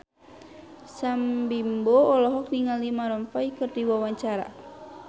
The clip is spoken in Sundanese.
Sam Bimbo olohok ningali Maroon 5 keur diwawancara